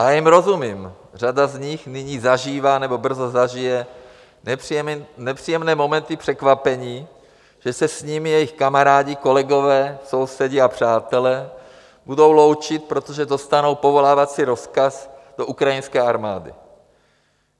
A já jim rozumím, řada z nich nyní zažívá nebo brzo zažije nepříjemné momenty překvapení, že se s nimi jejich kamarádi, kolegové, sousedi a přátelé budou loučit, protože dostanou povolávací rozkaz do ukrajinské armády.